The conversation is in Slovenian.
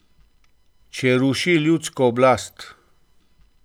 Če ruši ljudsko oblast.